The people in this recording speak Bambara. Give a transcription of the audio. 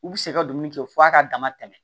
U bi se ka dumuni kɛ f'a ka dama tɛmɛ